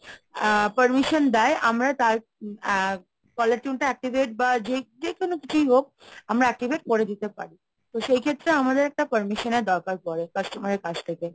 আ permission দেয় আমরা তার caller tune টা activate বা যে কোনো কিছুই হোক আমরা activate করে দিতে পারি, তো সেই ক্ষেত্রে আমাদের একটা permission এর দরকার পড়ে customer এর কাছ থেকে।